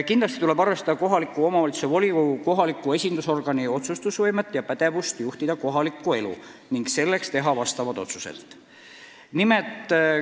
Kindlasti tuleb arvestada kohaliku omavalitsuse volikogu, kohaliku esindusorgani otsustuspädevust juhtida kohalikku elu ning teha selleks konkreetseid otsuseid.